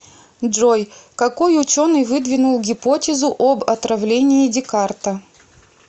джой какой ученый выдвинул гипотезу об отравлении декарта